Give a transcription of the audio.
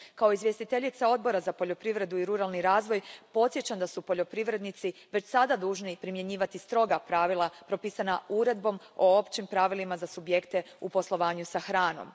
Kao izvjestiteljica Odbora za poljoprivredu i ruralni razvoj podsjećam da su poljoprivrednici već sada dužni primjenjivati stroga pravila propisana Uredbom o općim pravilima za subjekte u poslovanju s hranom.